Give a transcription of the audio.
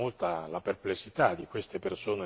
secondarie, addirittura irrilevanti.